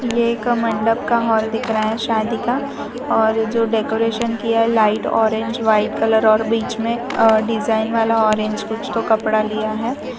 ये एक मंडप का हॉल दिख रहा है शादी का और जो डेकोरेशन किया लाइट ऑरेंज व्हाइट कलर और बीच में अ डिजाइन वाला ऑरेंज कुछ तो कपड़ा लिया है।